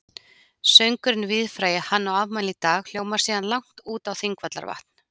Söngurinn víðfrægi Hann á afmæli í dag hljómar síðan langt út á Þingvallavatn.